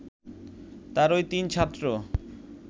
তারই তিন ছাত্র